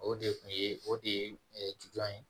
O de kun ye o de ju ye